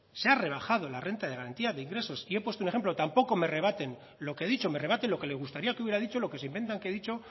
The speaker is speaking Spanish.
se ha rebajado la renta de garantía de ingresos y he puesto un ejemplo tampoco me rebaten lo que he dicho me rebaten lo que le gustaría que hubiera dicho lo que se inventan que he dicho